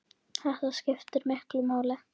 Þetta skiptir miklu máli.